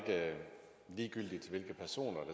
vi